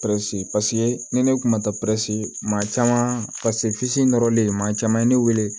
ni ne kun ma taa maa caman paseke nɔrɔlen maa caman ye ne weele